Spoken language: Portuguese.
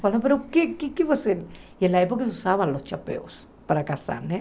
Falou, mas o que o que é que você... E na época usavam os chapéus para casar, né?